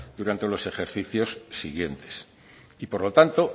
durante los ejercicios siguientes y por lo tanto